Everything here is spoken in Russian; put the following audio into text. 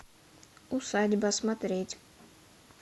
усадьба смотреть